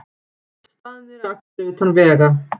Staðnir að akstri utan vega